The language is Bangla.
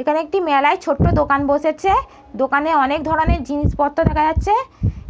এখানে একটি মেলায় ছোট্ট দোকান বসেছে দোকানে অনেক ধরনের জিনিসপত্র দেখা যাচ্ছে